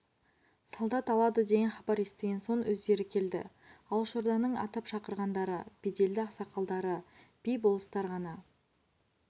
солдат алады деген хабар естіген соң өздері келді алашорданың атап шақырғандары беделді ақсақалдар би болыстар ғана